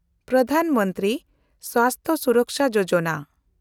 Pradhan Mantri Swasthya Suraksha Yojana